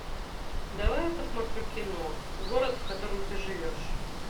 давай я посмотрю кино город в котором ты живешь